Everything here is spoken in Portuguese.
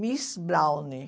Miss Browne.